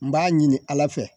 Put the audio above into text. N b'a ɲini ala fɛ